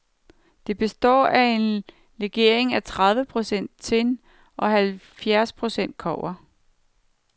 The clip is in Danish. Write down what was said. Det består af en legering af tredive procent tin og halvfjerds procent kobber.